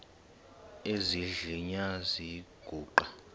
esidl eziny iziguqa